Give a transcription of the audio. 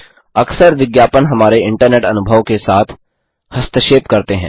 अक्सर विज्ञापन हमारे इंटरनेट अनुभव के साथ हस्तक्षेप करते हैं